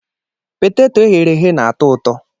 Peteto eghere eghe na-atọ ụtọ.